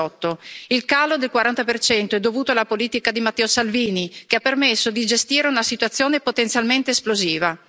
2018. Il calo del 40 è dovuto alla politica di Matteo Salvini, che ha permesso di gestire una situazione potenzialmente esplosiva.